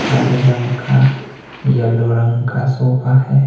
हरे रंग का येलो रंग का सोफा है।